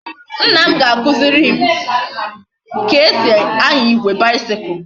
Nna m ga akuziri m ka esi anya igwe bicycle